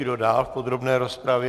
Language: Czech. Kdo dál v podrobné rozpravě?